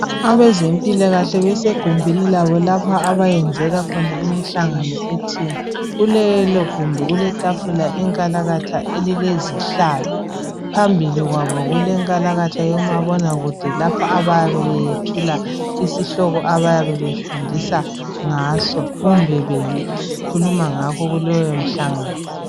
Abezempilakahle besegumbini labo lapho abayenzela khona imihlangano ethile. Kulelogumbi kuletafula inkalatha elilezihlalo phambili kwabo kulenkalatha kamabonakude lapha abayabe bethula isihloko abayabe befundisa ngaso kumbe bekhuluma ngakho kuleyomhlangano.